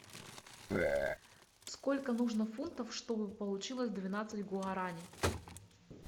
сколько нужно фунтов чтобы получилось двенадцать гуарани